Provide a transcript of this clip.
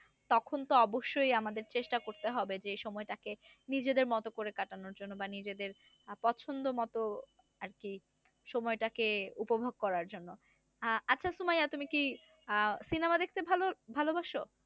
তখন তো অবশ্যই আমাদের চেষ্টা করতে হবে যে সময় টাকে নিজেদের মত করে কাটানোর জন্যে বা নিজেদের পছন্দমত আরকি সময়টাকে উপভোগ করার জন্য, আহ আচ্ছা সুমাইয়া তুমি কি আহ সিনেমা দেখতে ভালো ভালোবাসো?